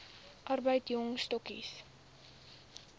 arbeid jong stokkies